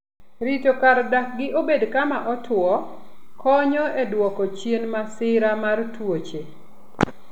Rito kar dakgi obed kama otwo konyo e dwoko chien masira mar tuoche.